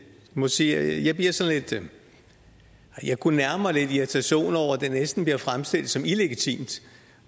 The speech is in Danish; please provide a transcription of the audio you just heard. må sige at jeg kunne nærme mig lidt irritation over at det næsten bliver fremstillet som illegitimt